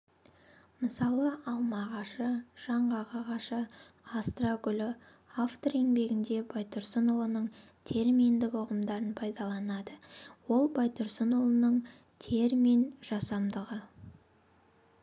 мысалы алма ағашы жаңғақ ағашы астра гүлі автор еңбегінде байтұрсынұлының терминдік ұғымдарын пайдаланады ол байтұрсынұлының терминжасамдағы